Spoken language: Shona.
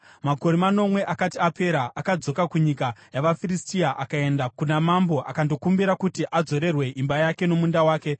Makore manomwe akati akapera, akadzoka kunyika yavaFiristia akaenda kuna mambo akandokumbira kuti adzorerwe imba yake nomunda wake.